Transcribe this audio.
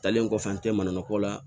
Talen kɔfɛ an tɛ mananuni ko la